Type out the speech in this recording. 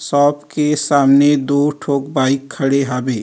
सब के सामने दो ठोक बाइक खड़े हवे।